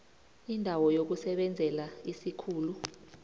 indawo yokusebenzela isikhulu